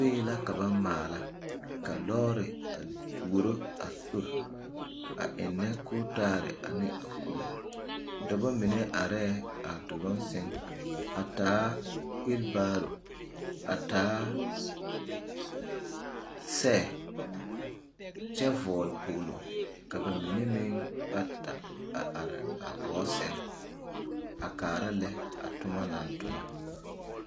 Soe la ka ba maala lɔɔre a tuuro a sori a ennɛ kootaale ane a kubo dɔbɔ mine arɛɛ a duluŋ sɛŋ a taa weebaro a taa sɛ kyɛ vɔgle kpoŋlo ka ba mine meŋ bata a are gɔɔ sɛŋ a kaara lɛ toma naŋ tona.